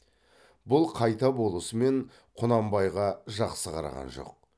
бұл қайта болысымен құнанбайға жақсы қараған жоқ